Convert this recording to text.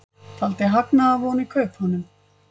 Taldi hagnaðarvon í kaupunum